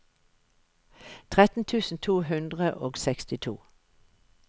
tretten tusen to hundre og sekstito